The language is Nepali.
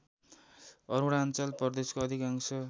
अरुणाञ्चल प्रदेशको अधिकांश